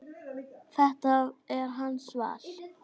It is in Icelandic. Þetta er hans val.